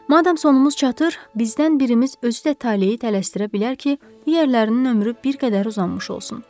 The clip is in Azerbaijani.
Madam sonumuz çatır, bizdən birimiz özü də taleyi dəyişdirə bilər ki, digərlərinin ömrü bir qədər uzanmış olsun.